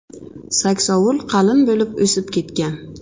Saksovul qalin bo‘lib o‘sib ketgan.